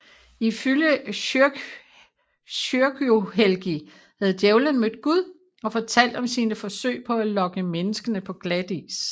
Ifølge Kyrkjuhelgi havde djævelen mødt Gud og fortalt om sine forsøg på at lokke menneskene på glatis